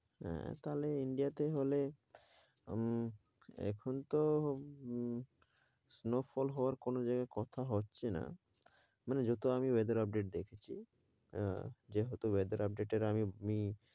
হ্যাঁ তাহলে ইন্ডিয়াতে হলে, আহ এখনতো ওম~ snow fall হওয়ার কোন জায়গায় কথা হচ্ছেনা, মানে আমি যত weather update দেখিছি, আহ যে হয়ত weather update এর আমি~